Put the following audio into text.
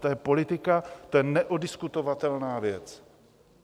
To je politika, to je neoddiskutovatelná věc.